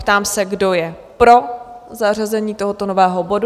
Ptám se, kdo je pro zařazení tohoto nového bodu?